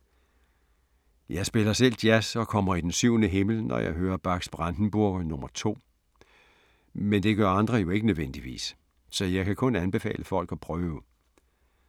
Jeg spiller selv jazz og kommer i den syvende himmel, når jeg hører Bachs Brandenburger nr. 2, men det gør andre jo ikke nødvendigvis. Så jeg kan kun anbefale folk at prøve.